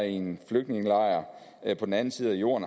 i en flygtningelejr på den anden side af jorden